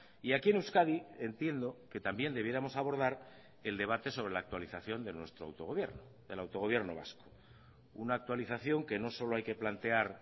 y aquí en euskadi entiendo que también debiéramos abordar el debate sobre la actualización de nuestro autogobierno del autogobierno vasco una actualización que no solo hay que plantear